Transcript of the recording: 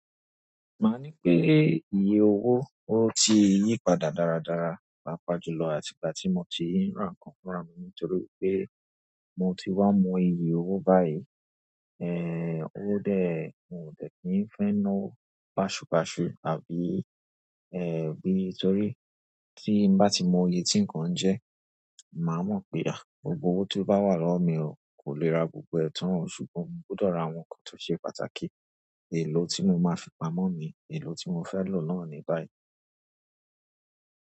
Maà ní pé ìyè owó o ti yí padà dáradára papajulò àti ìgbà tí mo ti ń ra nǹkan rárá mi, nítorí pé mo ti wá mọ iyi owó báyìí. Ẹ̀ ó dé mo dè kì í fẹ́ ná owo baṣùbaṣu àbí ẹ̀ bí, torí tí n bá ti mọ ye tí nǹkan jẹ́, mà á mọ̀ pé. Gbogbo owó tí ó bá wà lọ́wọ́ mi ò kò lè ra gbogbo ẹ̀tàn ọ, ṣùgbọ́n mò gbudọ̀ rà àwọn nǹkan tó ṣe pàtàkì. Èlò tí mo máa fi pamọ́ mi, èlò tí mo fẹ́ lò náà ni báyìí.